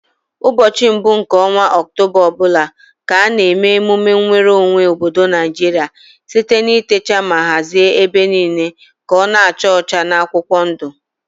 Ụbọchị mbụ nke ọnwa oktoba ọbụla ka a na eme emume nweru onwe obodo Naijiria site na itecha ma hazie ebe niile ka ọ na acha ọcha na akwụkwọ ndu